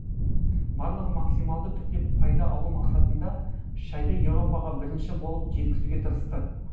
барлығы максималды түрде пайда алу мақсатында шайды европаға бірінші болып жеткізуге тырысты